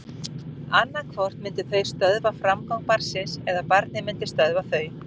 Annað hvort myndu þau stöðva framgang barnsins eða barnið myndi stöðva þau.